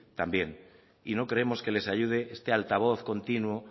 también no creemos que les ayude este altavoz continuo